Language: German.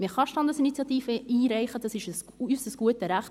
Man kann Standesinitiativen einreichen, dies ist unser gutes Recht.